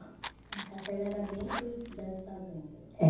A capela era dentro das fazendas? É